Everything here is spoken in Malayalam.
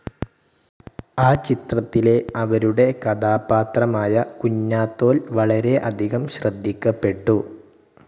ആ ചിത്രത്തിലെ അവരുടെ കഥാപാത്രമായ കുഞ്ഞാത്തോൽ വളരെ അധികം ശ്രദ്ധിക്കപ്പെട്ടു.